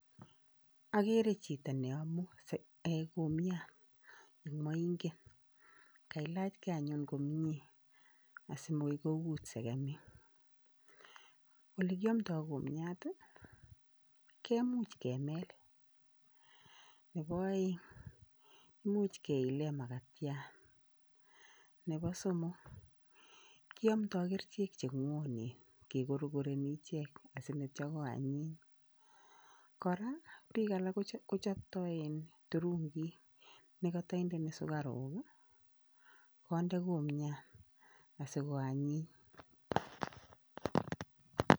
Ageere chito nenemu kumiat eng moinget, kailachikei anyuun komnye asimokoi kout sekemik. Ole kiamdoi kumiat komuch kemel . Nebo aeng imuch keile makatiat, nebo somok kiamdoi kerichek che ngwonen, kikorokoni ichek sinityo ko anyiny, kora biik alak kochoptoi turungik nekata indeni sukaruk konde kumiat asiko anyiny.